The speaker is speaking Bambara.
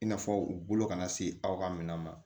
I n'a fɔ u bolo kana se aw ka minɛn ma